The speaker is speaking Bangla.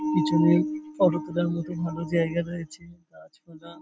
পিছনে ফটো তুলার মতো ভালো জায়গা রয়েছে গাছ পালা --